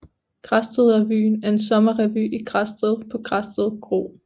Græsted Revyen er en sommerrevy i Græsted på Græsted Kro